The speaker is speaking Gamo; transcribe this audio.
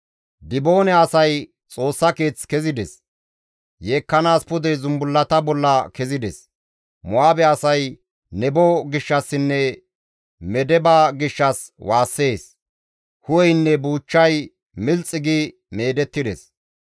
Diboone asay Xoossa keeth kezides; yeekkanaas pude zumbullata bolla kezides; Mo7aabe asay Nebo gishshassinne Medeba gishshas waassees; hu7eynne buuchchay milxi gi meedettides.